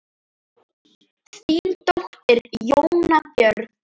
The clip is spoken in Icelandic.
Þín dóttir, Jóna Björg.